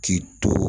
K'i to